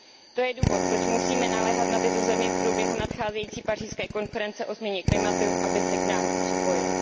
To je důvod, proč musíme naléhat na tyto země v průběhu nadcházející pařížské konference o změně klimatu, aby se k nám připojily.